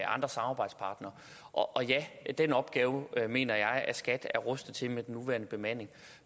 andre samarbejdspartnere og den opgave mener jeg at skat er rustet til med den nuværende bemanding